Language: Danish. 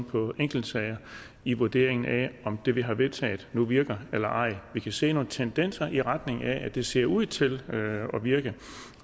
på enkeltsager i vurderingen af om det vi har vedtaget nu virker eller ej vi kan se nogle tendenser i retning af at det ser ud til at virke